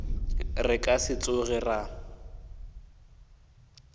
re ka se tsoge ra